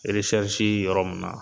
yɔrɔ mun na